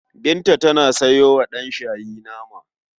Binta ta sayo wa ɗanshayi nama.